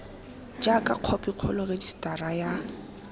jaaka khophi kgolo rejisetara ya